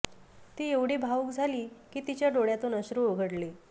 ती एवढी भावुक झाली की तिच्या डोळ्यातून अश्रू ओघळले